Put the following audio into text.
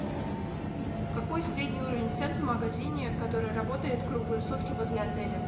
какой средний уровень цен в магазине который работает круглые сутки возле отеля